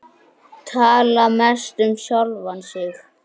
Tala mest um sjálfan sig.